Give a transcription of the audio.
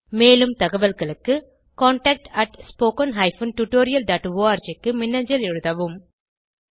மேலும் தகவல்களுக்கு contactspoken tutorialorg க்கு மின்னஞ்சல் எழுதவும்